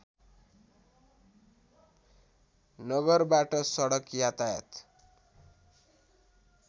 नगरबाट सडक यातायात